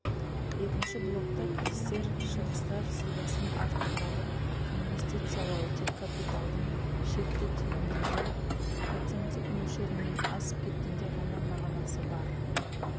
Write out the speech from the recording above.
екінші блокта кірістер шығыстар сызбасын авторлары инвестициялау тек капиталдың шекті тиімділігі проценттік мөлшерінен асып кеткенде ғана мағынасы бар